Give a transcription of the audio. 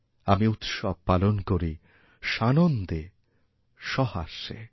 আমি উৎসব পালন করিসানন্দে সহাস্যে